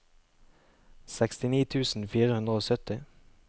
sekstini tusen fire hundre og sytti